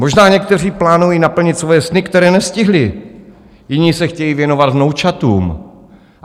Možná někteří plánují naplnit svoje sny, které nestihli, jiní se chtějí věnovat vnoučatům.